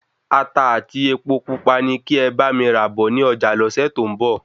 Ata ati Epo pupa ní kí e bá mi rà bọ ni ọjà lọ́sẹ̀ to n bo